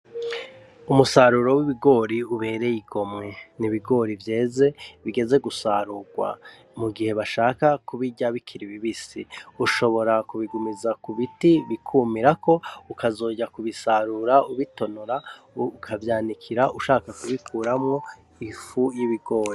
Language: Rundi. Umusaruro w'ibigori ubereye igomwe n'ibigori vyeze bigeze gusarurwa mu gihe bashaka kubirya bikiri bibisi ushobora kubigumiza ku biti bikumirako ukazoja kubisarura ubitonora ukavyanikikira ushaka kubikuramwo ifu y'ibigori.